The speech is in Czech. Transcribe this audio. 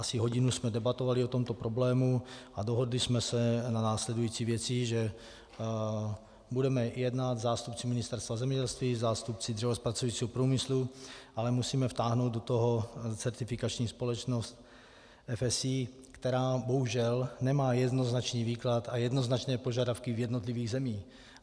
Asi hodinu jsme debatovali o tomto problému a dohodli jsme se na následující věci, že budeme jednat - zástupci Ministerstva zemědělství, zástupci dřevozpracujícího průmyslu, ale musíme vtáhnout do toho certifikační společnost FSC, která bohužel nemá jednoznačný výklad a jednoznačné požadavky v jednotlivých zemích.